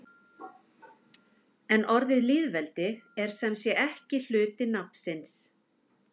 En orðið lýðveldi er sem sé ekki hluti nafnsins.